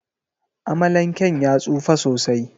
Amalanken ya tsufa sosai.